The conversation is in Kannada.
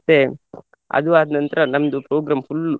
ಮತ್ತೆ ಅದು ಆದ್ನಂತ್ರ ನಂದು program full .